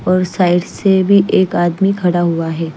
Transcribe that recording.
और साइड से भी एक आदमी खड़ा हुआ है।